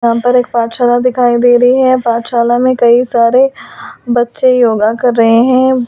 यहां पर एक पाठशाला दिखाई दे रही है पाठशाला में कई सारे बच्चे योगा कर रहे हैं।